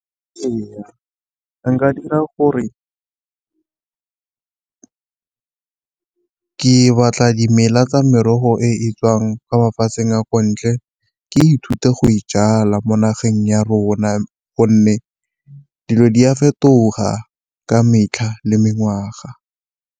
Ee, nka dira gore ke batla dimela tsa merogo e tswang kwa mafatsheng a kwa ntle ke ithuta go e jala mo nageng ya rona, gonne dilo di a fetoga ka metlha le mengwaga.